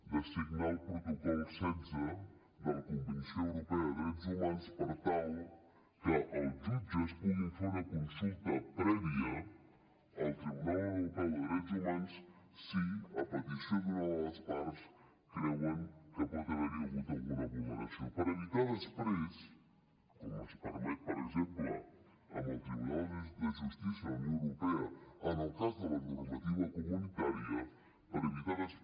de signar el protocol setze de la convenció europea de drets humans per tal que els jutges puguin fer una consulta prèvia al tribunal europeu de drets humans si a petició d’una de les parts creuen que pot haver hi hagut alguna vulneració per evitar després com es permet per exemple amb el tribunal de justícia de la unió europea en el cas de la normativa comunitària que hi hagi un revés una correcció